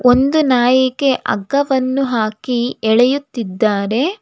ಒಂದು ನಾಯಿಗೆ ಹಗ್ಗವನ್ನು ಹಾಕಿ ಎಳೆಯುತ್ತಿದ್ದಾರೆ.